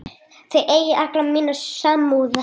Þið eigið alla mína samúð.